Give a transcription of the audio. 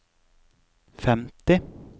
femti